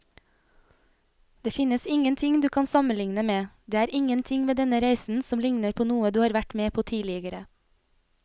Det finnes ingenting du kan sammenligne med, det er ingenting ved denne reisen som ligner på noe du har vært med på tidligere.